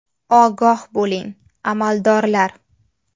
Ogoh bo‘ling, amaldorlar.